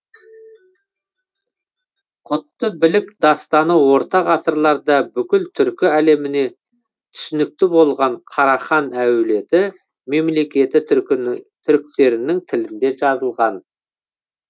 құтты білік дастаны орта ғасырларда бүкіл түркі әлеміне түсінікті болған карахан әулеті мемлекеті түріктерінің тілінде жазылған